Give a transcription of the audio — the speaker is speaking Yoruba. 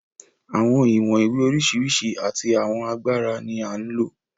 Àwọn ìwọ̀n ìwé oríṣiríṣi àti àwọn agbára ni à ń lò.